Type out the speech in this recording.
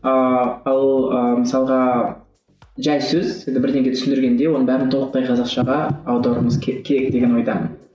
ыыы ал ы мысалға жай сөз енді бірдеңе түсіндіргенде оның бәрін толықтай қазақшаға аударуымыз керек деген ойдамын